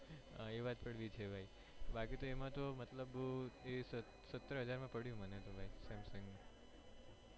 એ વાત પણ બી છે ભાઈ બાકી એમાં તો સતર હજાર માં પડ્યુ મને તો ભાઈ samsung નું